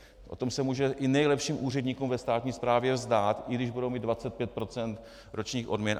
O tom se může i nejlepším úředníkům ve státní správě zdát, i když budou mít 25 % ročních odměn.